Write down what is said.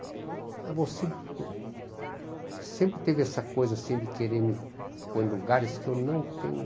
Mas você sempre teve essa coisa assim de querer me pôr em lugares que eu não tenho.